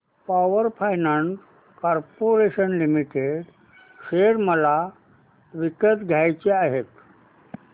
power finance corporation limited share मला विकत घ्यायचे आहेत